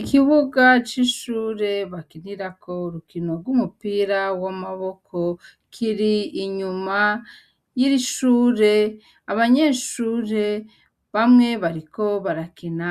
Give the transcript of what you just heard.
Ikibuga c'ishure bakinirako rukino rw'umupira w'amaboko kiri inyuma y'irishure abanyeshure bamwe bariko barakina